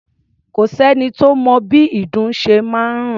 Kò sẹ́ni tó mọ bí ìdun ṣe máa ń rùn.